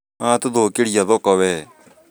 Nĩwa tũthũkĩria thoko wee